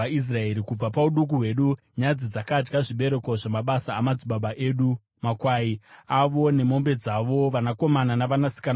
Kubva pauduku hwedu nyadzi dzakadya zvibereko zvamabasa amadzibaba edu, makwai avo, nemombe dzavo, vanakomana navanasikana vavo.